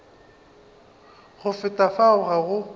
go feta fao ga go